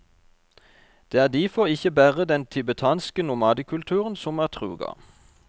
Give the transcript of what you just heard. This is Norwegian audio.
Det er difor ikkje berre den tibetanske nomadekulturen som er truga.